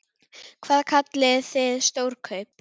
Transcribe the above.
Hvað kallið þið stór kaup?